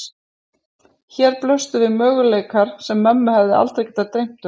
Hér blöstu við möguleikar sem mömmu hefði aldrei getað dreymt um.